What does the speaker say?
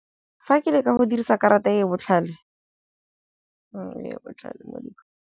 Fa ke le ka go dirisa karata e e botlhale .